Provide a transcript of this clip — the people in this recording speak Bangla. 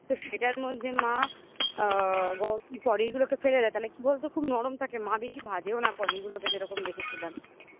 তো সেটার মধ্যে মা আ পনির গুলোকে ফেলে দেয় তাহলে কি বলতো খুব নরম থাকে মা বেশি ভাজেও না পনিরগুলোকে যেরকম দেখেছিলাম